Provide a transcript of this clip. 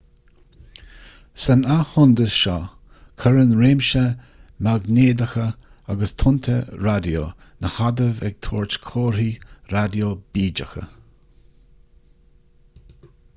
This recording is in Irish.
san athshondas seo cuireann réimse maighnéadacha agus tonnta raidió na hadaimh ag tabhairt comharthaí raidió bídeacha